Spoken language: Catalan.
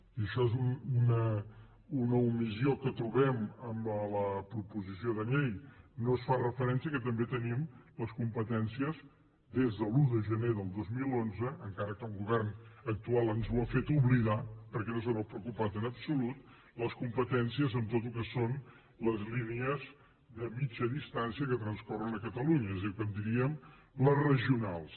i això és una omissió que trobem a la proposició de llei no es fa referència al fet que també tenim les competències des de l’un de gener del dos mil onze encara que el govern actual ens ho ha fet oblidar perquè no se n’ha preocupat en absolut en tot el que són les línies de mitjana distància que transcorren a catalunya és a dir el que en diríem les regionals